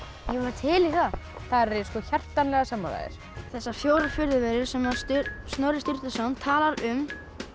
til í það þar er ég hjartanlega sammála þér þessar fjórar furðuverur sem Snorri Sturluson talar um